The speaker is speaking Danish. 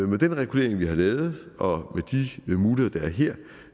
med den regulering vi har lavet og de muligheder der er her